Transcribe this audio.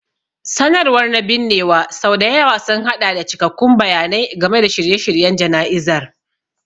Sanarwar na binnewa sau da yawa sun haɗa da cikakkun bayanai game da shirye-shiryen jana'izar.